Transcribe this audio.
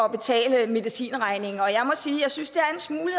betale medicinregningen og jeg må sige at jeg synes det